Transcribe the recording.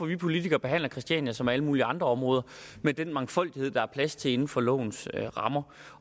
vi politikere behandler christiania som alle mulige andre områder med den mangfoldighed der er plads til inden for lovens rammer